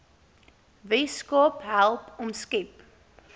weskaap help omskep